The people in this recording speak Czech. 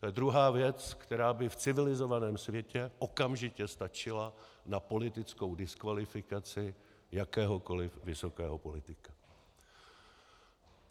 To je druhá věc, která by v civilizovaném světě okamžitě stačila na politickou diskvalifikaci jakéhokoliv vysokého politika.